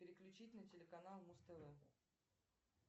переключить на телеканал муз тв